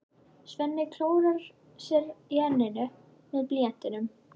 Svenni klórar sér í enninu með blýantinum.